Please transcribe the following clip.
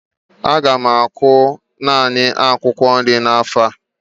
Aga m akụ naanị akwụkwọ nri n'afọ a